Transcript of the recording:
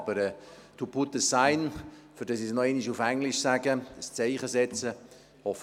Aber «to put the sign», damit ich es noch einmal englisch sage, «ein Zeichen setzen»: